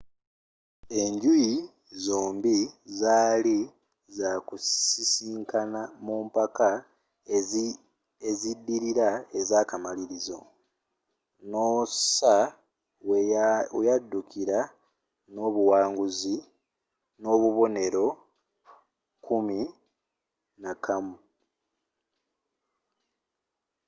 enjuyi zombie zaali za kusisikana mu mpaka eziddirira ezaakamalirizo noosa weyaddukira n’obuwanguzi n’obubonero kuminakamu 11